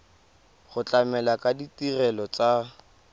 go tlamela ka ditirelo tsa